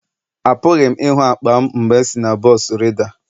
Apụghị m ịhụ akpa m mgbe m si na bọs rida.